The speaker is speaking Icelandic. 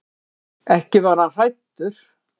Ekki var hann hræddur.